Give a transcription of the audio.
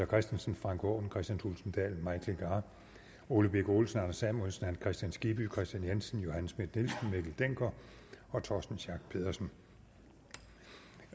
christensen frank aaen kristian thulesen dahl mike legarth ole birk olesen anders samuelsen hans kristian skibby kristian jensen johanne schmidt nielsen mikkel dencker og torsten schack pedersen